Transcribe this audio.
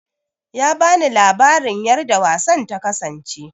Ya bani labarin yarda wasan ta kasance